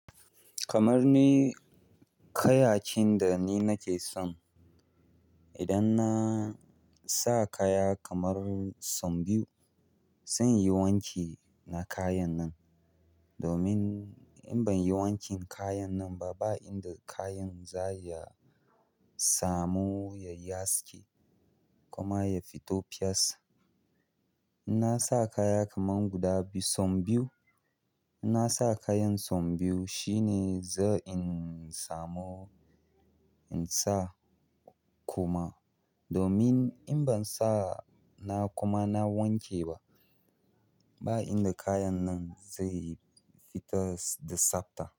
Kamar ni, kayayyakin da ni nake son, idan na sa kaya kamar sau biyu zan yi wanki na kayan nan. Domin in ban yi wankin kayan nan ba, ba inda kayan za ya samu ya yi haske kuma ya fito fes. In na sa kaya kaman guda biyu, sau biyu, in na sa kayan sau biyu shine zai in samo in sa kuma. Domin in ban sa na kuma na wanke ba, ba inda kayan nan zai fito da tsabta.